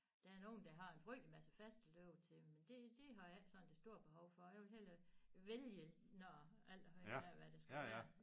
Der er nogen der har en frygtelig masse fast at løbe til men det det har jeg ikke sådan det store behov for jeg vil hellere vælge når alt afhængig af hvad det skal være